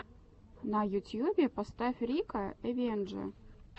в ютьюбе поставь рика эвендже